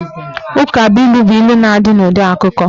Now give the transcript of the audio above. Ukabụilu bụ ilu na-adị n'ụdị akụkụ.